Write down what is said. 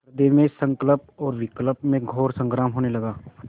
हृदय में संकल्प और विकल्प में घोर संग्राम होने लगा